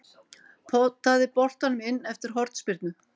Potaði boltanum inn eftir hornspyrnu.